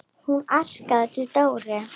Hún arkaði til Dóru.